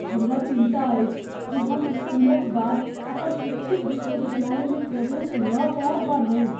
हमरा चिन्ता अछि जे हम इसकुलक बाद अपन इच्छित विश्वविद्यालयमे प्रवेश लऽ पाएब वा नहि।